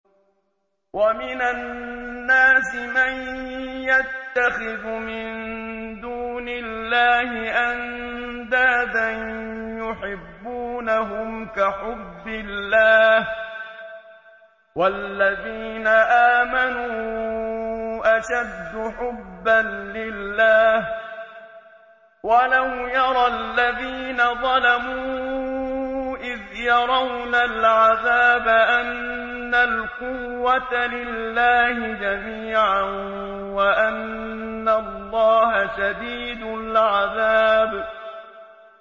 وَمِنَ النَّاسِ مَن يَتَّخِذُ مِن دُونِ اللَّهِ أَندَادًا يُحِبُّونَهُمْ كَحُبِّ اللَّهِ ۖ وَالَّذِينَ آمَنُوا أَشَدُّ حُبًّا لِّلَّهِ ۗ وَلَوْ يَرَى الَّذِينَ ظَلَمُوا إِذْ يَرَوْنَ الْعَذَابَ أَنَّ الْقُوَّةَ لِلَّهِ جَمِيعًا وَأَنَّ اللَّهَ شَدِيدُ الْعَذَابِ